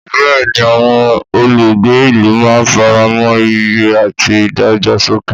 Bẹ́ẹ̀ni, àwọn olùgbé ìlú máa ń faramọ́ ìyè àti ìdàgbàsókè.